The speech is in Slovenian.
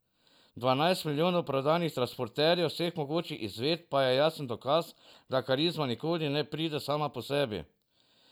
Dvanajst milijonov prodanih transporterjev vseh mogočih izvedb pa je jasen dokaz, da karizma nikoli ne pride sama po sebi.